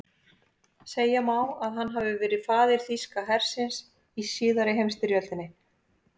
Segja má að hann hafi verið faðir þýska hersins í síðari heimsstyrjöldinni.